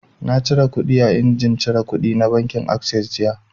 Na cire kuɗi a injimin cire kuɗi na bankin assess jiya